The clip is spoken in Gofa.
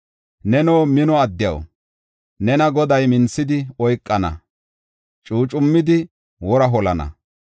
Neno mino addiyaw, nena Goday minthidi oykana; cuucummidi wora holana.